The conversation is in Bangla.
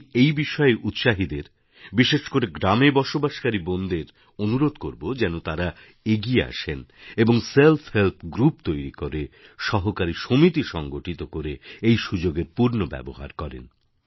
আমি এই বিষয়ে উৎসাহীদের বিশেষ করে গ্রামে বসবাসকারী বোনেদের অনুরোধ করব যেন তাঁরা এগিয়ে আসেন এবং সেলফহেল্প গ্রুপ তৈরি করে সহকারী সমিতি সংগঠিত করে এই সুযোগের পূর্ণ ব্যবহার করেন